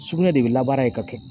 Sugunɛ de bɛ labaara ka kɛ.